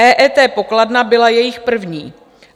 EET pokladna byla jejich první.